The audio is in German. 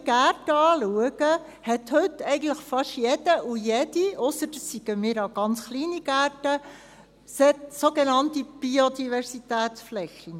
Denn wenn ich die Gärten anschaue, hat heute eigentlich fast jeder und jede – ausser es sind ganz kleine Gärten – sogenannte Biodiversitätsflächen.